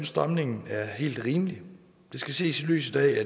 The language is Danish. stramningen er helt rimeligt det skal ses i lyset af at